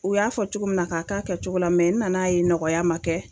U y'a fɔ cogo min na k'a kɛ a kɛcogo la mɛ n nana ye nɔgɔya ma kɛ